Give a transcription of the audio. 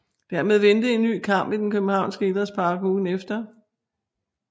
Dermed ventede en ny kamp i den københavnske idrætspark ugen efter